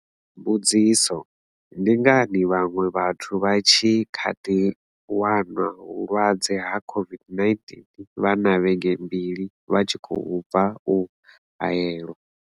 Mbudziso. Ndi ngani vhaṅwe vhathu vha tshi kha ḓi wanwa vhulwadze ha COVID-19 vha na vhege mbili vha tshi khou bva u haelwa?